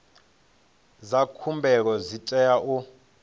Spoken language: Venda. dza khumbelo dzi tea u